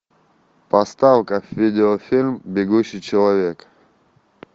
поставь ка видеофильм бегущий человек